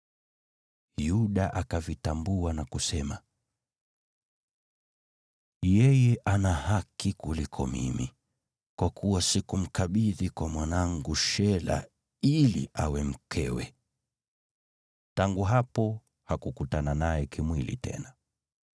Yuda akavitambua na kusema, “Yeye ana haki kuliko mimi, kwa kuwa sikumkabidhi kwa mwanangu Shela ili awe mkewe.” Tangu hapo hakukutana naye kimwili tena.